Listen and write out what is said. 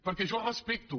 perquè jo respecto